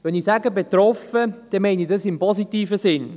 Wenn ich sage «betroffen», meine ich das in positivem Sinn.